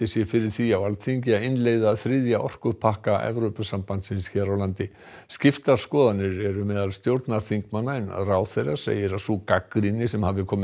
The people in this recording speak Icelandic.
sé fyrir því á Alþingi að innleiða þriðja orkupakka Evrópusambandsins hér á landi skiptar skoðanir eru meðal stjórnarþingmanna en ráðherra segir að sú gagnrýni sem hafi komið